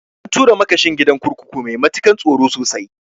An tura makashin gidan kurkukun mai matakan tsaro sosai